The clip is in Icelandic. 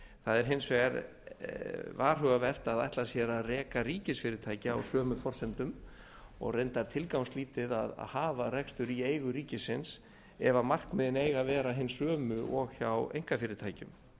það er hins vegar varhugavert að ætla sér að reka ríkisfyrirtæki á sömu forsendum og reyndar tilgangslítið að hafa rekstur í eigu ríkisins ef markmiðin eiga að vera hin sömu og hjá einkafyrirtækjum